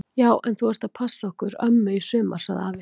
Já en þú ert að passa okkur ömmu í sumar! sagði afi.